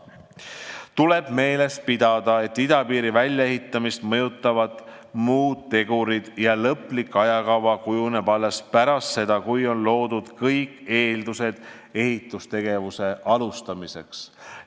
Tuleb meeles pidada, et idapiiri väljaehitamist mõjutavad muud tegurid ja lõplik ajakava kujuneb alles pärast seda, kui on loodud kõik eeldused ehitustegevuse alustamiseks.